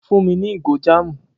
Fún mi ní ìgò jáàmù!